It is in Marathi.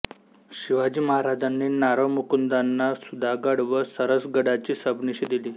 शिवाजी महाराजांनी नारो मुकुंदाना सुधागड व सरसगडाची सबनिशी दिली